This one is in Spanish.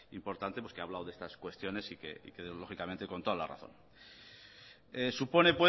importante pues que ha hablado de estas cuestiones y que lógicamente con toda la razón supone